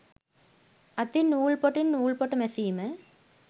අතින් නූල් පොටින් නූල්පොට මැසීම